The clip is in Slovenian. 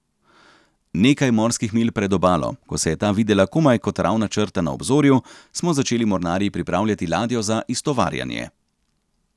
Nekaj morskih milj pred obalo, ko se je ta videla komaj kot ravna črta na obzorju, smo začeli mornarji pripravljati ladjo za iztovarjanje.